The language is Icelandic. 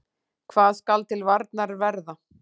Hvað skal til varnar verða?